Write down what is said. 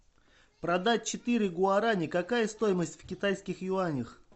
продать четыре гуарани какая стоимость в китайских юанях